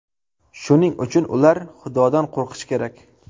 Shuning uchun ular Xudodan qo‘rqishi kerak.